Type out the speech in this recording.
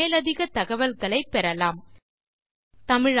மேலும் தகவல்களுக்கு இந்த லிங்க் ஐ பார்க்கவும்